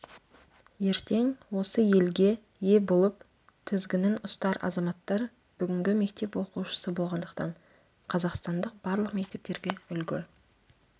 ертең осы елге ие болып тізгінін ұстар азаматтар бүгінгі мектеп оқушысы болғандықтан қазақстандық барлық мектептерге үлгі